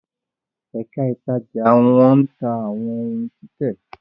Èka ítàjà ní wón tá àwọn òún títè